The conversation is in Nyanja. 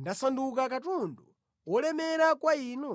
ndasanduka katundu wolemera kwa Inu?